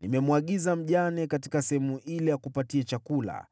Nimemwagiza mjane katika sehemu ile akupatie chakula.”